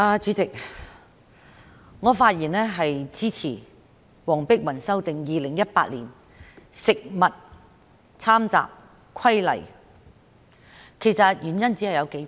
主席，我發言支持黃碧雲議員就修訂《2018年食物攙雜規例》提出的議案，原因只有數點。